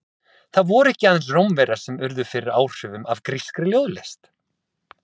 Það voru ekki aðeins Rómverjar sem urðu fyrir áhrifum af grískri ljóðlist.